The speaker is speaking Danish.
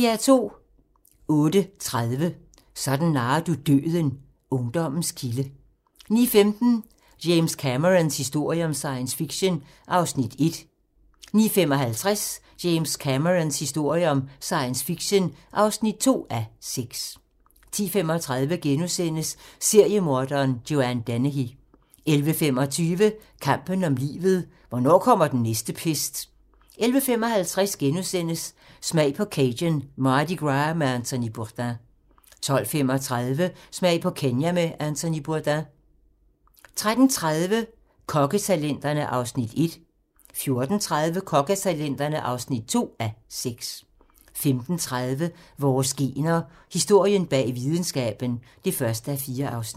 08:30: Sådan narrer du døden - Ungdommens kilde 09:15: James Camerons historie om science fiction (1:6) 09:55: James Camerons historie om science fiction (2:6) 10:35: Seriemorderen Joanne Dennehy * 11:25: Kampen om livet - hvornår kommer den næste pest? 11:55: Smag på Cajun Mardi Gras med Anthony Bourdain * 12:35: Smag på Kenya med Anthony Bourdain 13:30: Kokketalenterne (1:6) 14:30: Kokketalenterne (2:6) 15:30: Vores gener - Historien bag videnskaben (1:4)